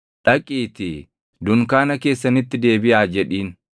“Dhaqiitii, ‘Dunkaana keessanitti deebiʼaa’ jedhiin.